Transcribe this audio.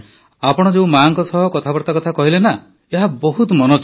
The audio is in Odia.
ଆପଣ ଯେଉଁ ମାଆଙ୍କ ସହ କଥାବାର୍ତ୍ତା କଥା କହିଲେ ନା ଏହା ବହୁତ ମନଛୁଆଁ